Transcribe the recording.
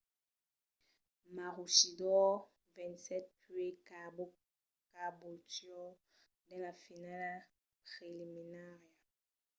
maroochydore vencèt puèi caboolture dins la finala preliminària